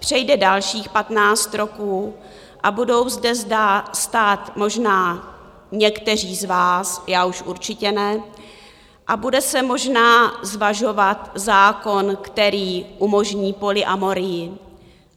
Přejde dalších patnáct roků a budou zde stát možná někteří z vás, já už určitě ne, a bude se možná zvažovat zákon, který umožní polyamorii.